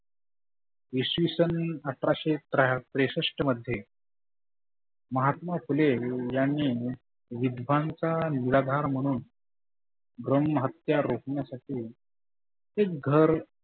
इसवि सन अठराशे त्र्याह त्रेसष्ठ मध्ये महात्मा फुले यांनी विद्वांचा नगार म्हणून ब्रम हत्या रोकण्यासाठी ते घर